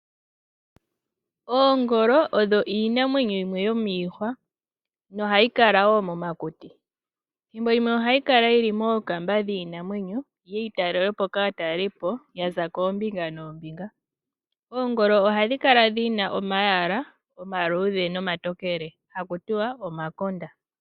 Oongolo odho iinamwenyo yimwe yomiihwa nohayi kala wo momakuti. Thimbo limwe ohayi kala yili mookamba dhiinamwenyo yiye yi talelwepo kaatalelipo yaza koombinga noombinga. Oongolo ohadhi kala dhina omayala omatokele nomaluudhe ha kutiwa omakonda.